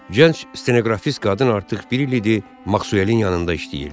Gənc stenoqrafist qadın artıq bir il idi Maxvelin yanında işləyirdi.